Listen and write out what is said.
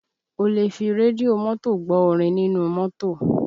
O lè fi rédíò mọ́tò gbọ́ orin nínú mọ́tò